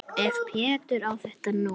Ef Pétur á þetta nú.